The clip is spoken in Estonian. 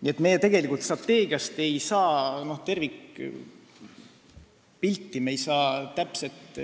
Nii et me tegelikult strateegiast ei saa tervikpilti, me ei saa täpset